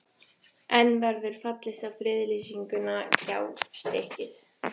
En verður fallist á friðlýsingu Gjástykkis?